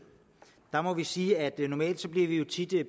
her må vi sige at vi jo tit her i